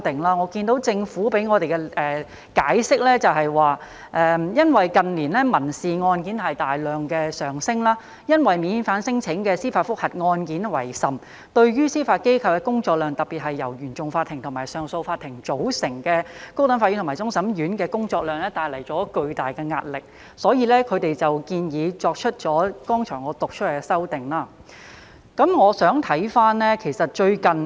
我看到政府向我們作出的解釋是，因為近年民事案件大量上升，尤以免遣返聲請的司法覆核案件為甚，對於司法機構，特別由原訟法庭和上訴法庭組成的高等法院和終審法院帶來巨大的壓力，所以，他們建議我剛才讀出來的修訂。我想看回......其實最近......